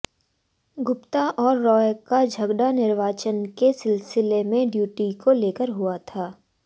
गुप्ता और रॉय का झगड़ा निर्वाचन के सिलसिले में ड्यूटी को लेकर हुआ था